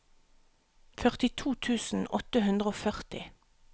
førtito tusen åtte hundre og førti